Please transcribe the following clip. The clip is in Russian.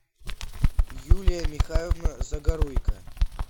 юлия михайловна загоруйко